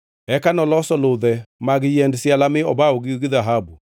Eka noloso ludhe mag yiend siala mi obawogi gi dhahabu.